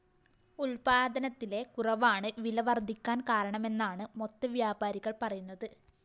ഉല്‍പാദനത്തിലെ കുറവാണ് വില വര്‍ധിക്കാന്‍ കാരണമെന്നാണ് മൊത്ത വ്യാപാരികള്‍ പറയുന്നത്